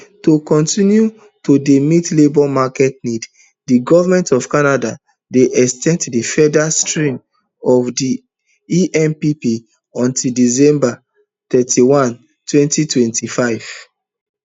to continue to dey meet labour market needs di goment of canada dey ex ten d di federal stream of di empp until december thirty-one two thousand and twenty-five